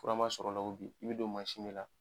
Fura ma sɔrɔ o la ko bi, i bɛ don mansin de la